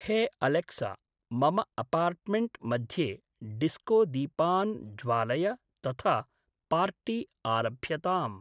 हे अलेक्सा मम अपार्ट्मेण्ट् मध्ये डिस्कोदीपान् ज्वालय तथा पार्टी आरभ्यताम्।